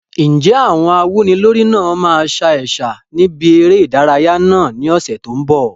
Ǹjẹ́ àwọn awúnilórí náà máa sa ẹ̀sà níbi eré ìdárayá náà ní ọ̀sẹ̀ tó ń bọ̀?